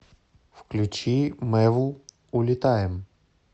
включи мэвл улетаем